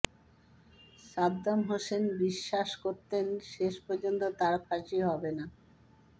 Saddam Hussein বিশ্বাস করতেন শেষ পর্যন্ত তাঁর ফাঁসি হবে না